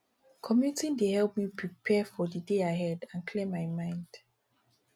commuting dey help me prepare for the day ahead and clear my mind